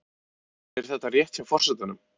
En er þetta rétt hjá forsetanum?